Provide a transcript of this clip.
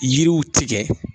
Yiriw tigɛ